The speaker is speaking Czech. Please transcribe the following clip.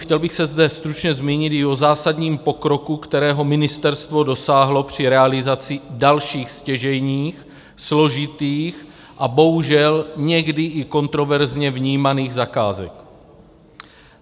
Chtěl bych se zde stručně zmínit i o zásadním pokroku, kterého ministerstvo dosáhlo při realizaci dalších stěžejních, složitých a bohužel někdy i kontroverzně vnímaných zakázek.